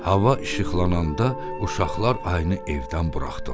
Hava işıqlananda uşaqlar ayını evdən buraxdılar.